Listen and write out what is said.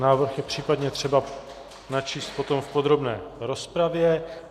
Návrh je případně třeba načíst potom v podrobné rozpravě.